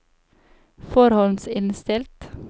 forhåndsinnstilt